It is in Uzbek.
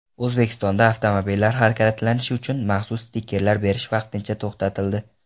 O‘zbekistonda avtomobillar harakatlanishi uchun maxsus stikerlar berish vaqtincha to‘xtatildi.